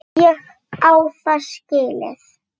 Ég á það skilið.